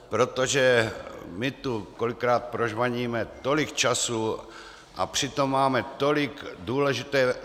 Protože my tu kolikrát prožvaníme tolik času, a přitom máme tolik důležité práce.